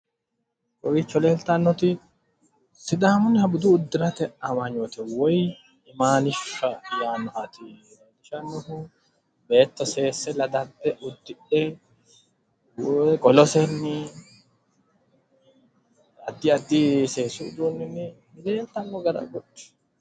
Kowiicho leeltannoti sidaamunniha budu uddirate amanyoote woyi imaanishsha yaannoha leellishshannoho. Beetto seesse ladadda uddudhe qolosenni addi addi seesu uduunninni leeltanno gara agudhi.